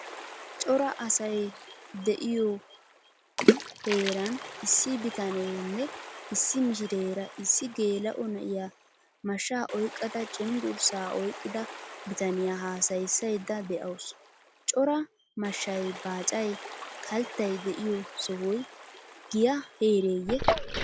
Cora asay diyo heeran issi bitanenne issi mishshirera issi gela'o na'iyaa mashsha oyqqada cenggurssa oyqqada bitaniyaa haasayisaydda deawusu. Cora mashshay baacay, kalttay deiyo sohoy giya heereye?